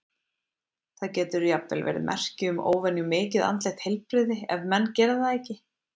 Það getur jafnvel verið merki um óvenju mikið andlegt heilbrigði ef menn gera það ekki.